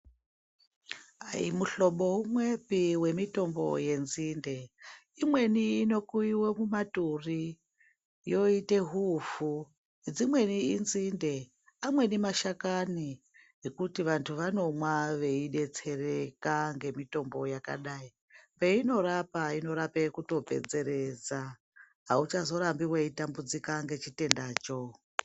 Aimuhlobo umwepi wenzinde imweni inokuyiwe mumaturi yoite huufu, dzimweni inzinde, amweni mashakani ekuti vantu vanomwa eidetsereka nemitombo yakadai peinorapa inorape kutopedzeredza auchazorambi weitambudzika ngechitendacho.